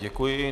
Děkuji.